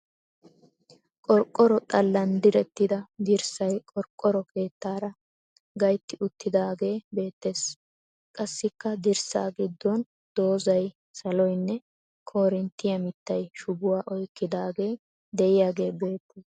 Qorqqoro xallan direttida dirssay qorqqoro keettaara gayitti uttidaagee beettes. Qassikka dirssa giddon dozzay, saloynne koorinttiya mittay shubuwa oyikkidaagee diyagee beettes.